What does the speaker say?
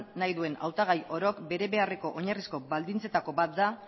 nahi duen hautagai orok bete beharreko oinarrizko baldintzetako bat da